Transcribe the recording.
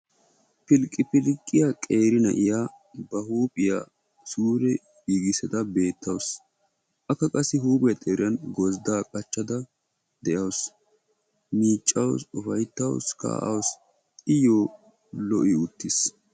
Phiilqqiphphiilqqiyaa qeeri na'iya ba huuphphiya suure giiggissada beettawusu akka qassi huphphiya xeeran gozziddaa qachchada de'awusu; miiccawusu ufayttawusu; kaa'awusu iyo lo'i uttiis.